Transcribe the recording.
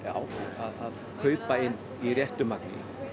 að kaupa inn í réttu magni